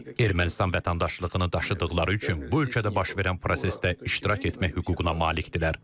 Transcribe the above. Ermənistan vətəndaşlığını daşıdıqları üçün bu ölkədə baş verən prosesdə iştirak etmək hüququna malikdirlər.